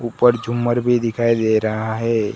ऊपर झूमर भी दिखाई दे रहा है।